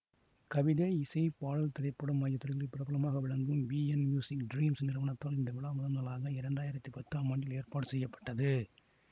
கவிதை இசை பாடல் திரைப்படம் ஆகிய துறைகளில் பிரபலமாக விளங்கும் விஎன் மியூசிக் டிரீம்ஸ் நிறுவனத்தால் இந்த விழா முதன்முதலாக இரண்டாயிரத்தி பத்தாம் ஆண்டில் ஏற்பாடு செய்ய பட்டது